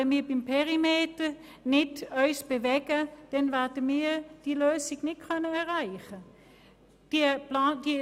Wenn wir uns nicht beim Perimeter bewegen, werden wir keine Lösung erreichen können.